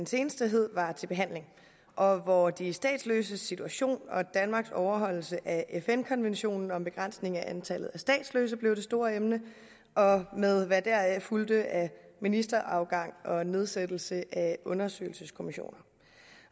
seneste hed var til behandling og hvor de statsløses situation og danmarks overholdelse af fn konventionen om begrænsning af antallet af statsløse blev det store emne med hvad deraf fulgte af ministerafgang og nedsættelse af undersøgelseskommissioner